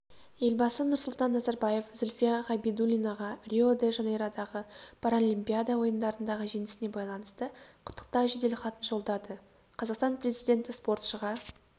елбасы нұрсұлтан назарбаев зүлфия ғабидуллинаға рио-де-жанейродағы паралимпиада ойындарындағы жеңісіне байланысты құттықтау жеделхатын жолдады қазақстан президенті спортшыға